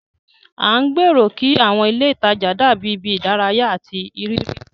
À ń gbèrò kí àwọn ilé ìtajà dàbí ibi ìdárayá àti ìrírí.